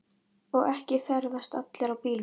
Og ekki ferðast allir í bílum.